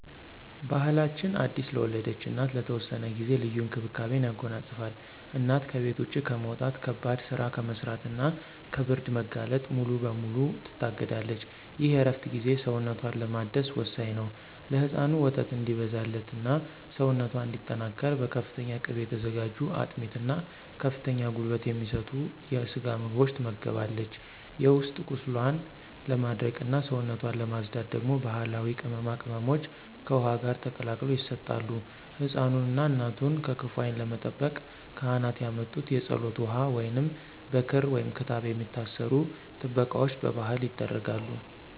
ባሕላችን አዲስ ለወለደች እናት ለተወሰነ ጊዜ ልዩ እንክብካቤን ያጎናጽፋል። እናት ከቤት ውጭ ከመውጣት፣ ከባድ ሥራ ከመሥራትና ከብርድ መጋለጥ ሙሉ በሙሉ ትታገዳለች። ይህ የእረፍት ጊዜ ሰውነቷን ለማደስ ወሳኝ ነው። ለሕፃኑ ወተት እንዲበዛላትና ሰውነቷ እንዲጠናከር በፍተኛ ቅቤ የተዘጋጁ አጥሚት እና ከፍተኛ ጉልበት የሚሰጡ የስጋ ምግቦች ትመገባለች። የውስጥ ቁስሏን ለማድረቅና ሰውነቷን ለማፅዳት ደግሞ ባሕላዊ ቅመማ ቅመሞች ከውኃ ጋር ተቀላቅለው ይሰጣሉ። ሕፃኑንና እናቱን ከክፉ ዓይን ለመጠበቅ ካህናት ያመጡት የፀሎት ውኃ ወይንም በክር/ክታብ የሚታሰሩ ጥበቃዎች በባሕል ይደረጋሉ።